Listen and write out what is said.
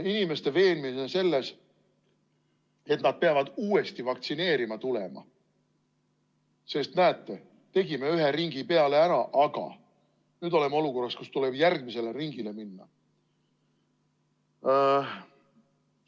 Inimesi tuleb veenda selles, et nad peavad uuesti vaktsineerima tulema, sest näete, tegime ühe ringi peale ära, aga nüüd oleme olukorras, kus tuleb järgmisele ringile minna.